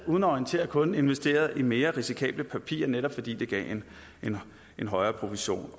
uden at orientere kunden har investeret i mere risikable papirer netop fordi det gav en højere provision